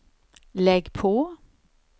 lägg på